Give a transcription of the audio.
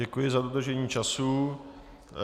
Děkuji za dodržení času.